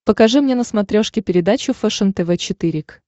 покажи мне на смотрешке передачу фэшен тв четыре к